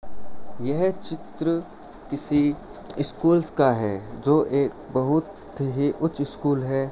ये चित्र किसी स्कूल्स का है जो एक बहुत ही उच्च स्कूल है।